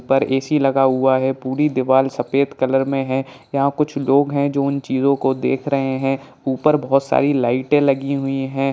पर ए.सी. लगा हुआ है| पूरी दीवार सफ़ेद कलर में है| यहाँ कुछ लोग हैं जो उन चीजों को देख रहे हैं| ऊपर बहुत सारी लाइटे लगी हुई हैं।